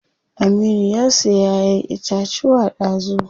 Aminu ya siya ƴaƴen itacuwa dazu.